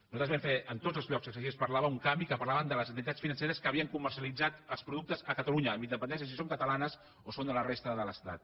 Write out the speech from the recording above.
nosaltres vam fer en tots els llocs que se’n parlava un canvi amb què parlàvem de les entitats financeres que havien comercialitzat els productes a catalunya amb independència de si són catalanes o són de la resta de l’estat